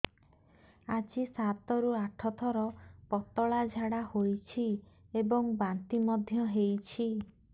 ଆଜି ସାତରୁ ଆଠ ଥର ପତଳା ଝାଡ଼ା ହୋଇଛି ଏବଂ ବାନ୍ତି ମଧ୍ୟ ହେଇଛି